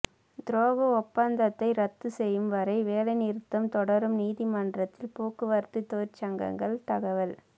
துரோக ஒப்பந்தத்தை ரத்து செய்யும் வரை வேலைநிறுத்தம் தொடரும் நீதிமன்றத்தில் போக்குவரத்து தொழிற்சங்கங்கள் தகவல்